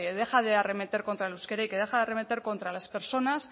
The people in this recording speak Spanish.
dejen de arremeter contra el euskera y que dejen de arremeter contra las personas